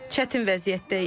Çətin vəziyyətdəyik.